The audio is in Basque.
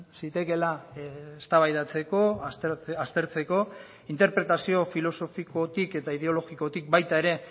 zitekeela eztabaidatzeko aztertzeko interpretazio filosofikotik eta ideologikotik baita ere